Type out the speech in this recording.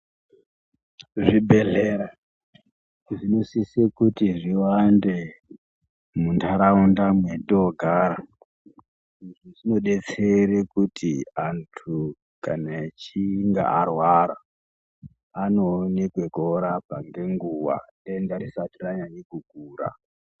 Zvibhedhlera zvinosise kuti zviwande munharaunda mwetoogara. Izvi zvinodetsere kuti kana antu achinge arwara anoone kwekuorapwa ngenguwa denda risati ranyanye kukura.